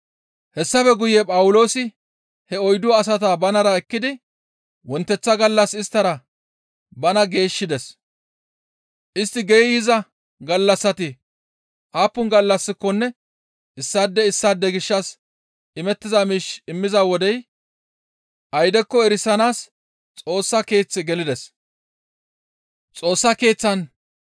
Hessafe guye Phawuloosi he oyddu asata banara ekkidi wonteththa gallas isttara bana geeshshides; istti geeyza gallassati aappun gallassikonne issaade issaade gishshas imettiza miish immiza wodey aydekko erisanaas Xoossa Keeththe gelides.